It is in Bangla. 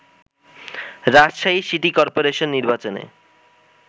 রাজশাহী সিটি কর্পোরেশন নির্বাচনে